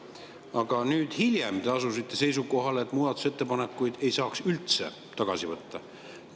Aga hiljem te asusite seisukohale, et muudatusettepanekuid ei saa üldse tagasi võtta.